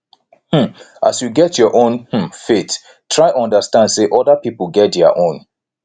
um as you get your own um faith try understand sey oda pipo get their own